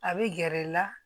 A bɛ gɛrɛ i la